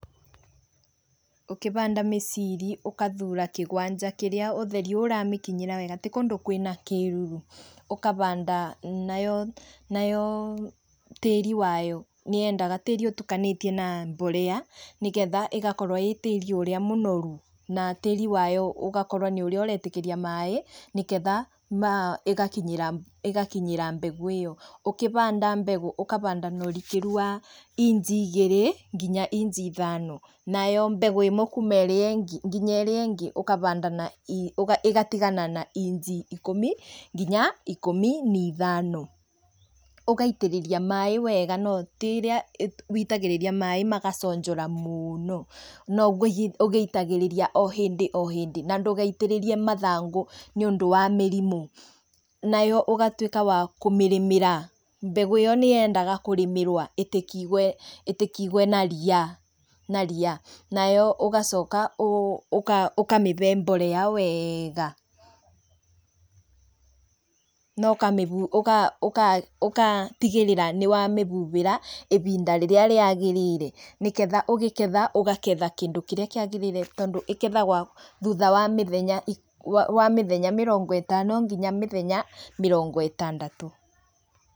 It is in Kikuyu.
Ũkĩhanda mĩciri ũgathura kĩwanja kĩrĩa ũtheri ũramĩkinyĩra wega, ti kũndũ kwĩna kĩruru ũkahanda, nayo nayo tĩri wayo nĩyedendaga tĩri ũtukanĩtie na mbolea nĩgetha ĩgakorwo ĩ tĩri ũrĩa mũnoru na tĩrĩ wayo ũgakorwo nĩ ũrĩa ũretĩkĩria maĩ nĩ getha aah ĩgakinyĩra ĩgakinyĩra mbegũ ĩyo, ũkĩhanda mbegũ ũkahanda na ũrikĩru wa inji igĩrĩ nginya inji ithano, nayo mbegũ ĩmwe nginya ĩrĩa ĩngĩ ũkahanda, ĩgatigana na inji ikũmi nginya ikũmi na ithano, ũgaitĩrĩria maĩ wega no tiĩrĩa woitagĩrĩria maĩ magaconjora mũno, no no gũitagĩrĩria o hĩndĩ o hĩndĩ na ndũgaitĩrĩrie mathangũ nĩ ũndũ wa mĩrimũ, nayo ũgatuĩka wa kũmĩrĩmĩra, mbegũ ĩyo nĩ yendaga kũrĩmĩrwo, ndĩgatigwo na ria, na ria, nayo ũgacoka ũkamĩhe mbolea wega na ũga ũga ũgatigĩrĩra nĩ wa mĩhuhĩra wega, ihinda rĩrĩa rĩagĩrĩire nĩgetha ũkĩgetha ũkagetha kĩndũ kĩrĩa kĩagĩrĩire, tondũ ĩgethagwo thutha wa mĩthenya, wa wa mĩthenya mĩrongo ĩtano nginya mĩthenya mĩrongo ĩtandatũ